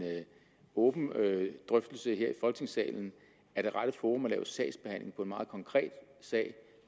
åben drøftelse her i folketingssalen er det rette forum at lave sagsbehandling på en meget konkret sag